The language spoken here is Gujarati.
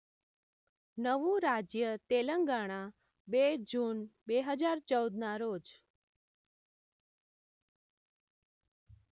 નવું રાજ્ય તેલંગાણા બે જૂન બે હજાર ચૌદના રોજ